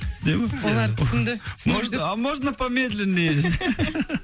түсіне ма ия олар түсінді можно а можно помедленнее десейші